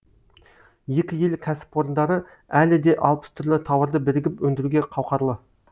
екі ел кәспорындары әлі де алпыс түрлі тауарды бірігіп өндіруге қауқарлы